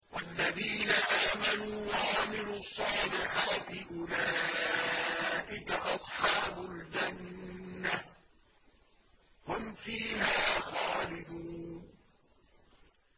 وَالَّذِينَ آمَنُوا وَعَمِلُوا الصَّالِحَاتِ أُولَٰئِكَ أَصْحَابُ الْجَنَّةِ ۖ هُمْ فِيهَا خَالِدُونَ